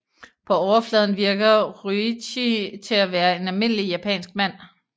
På overfladen virker Ryuichi til at være en almindelig japansk mand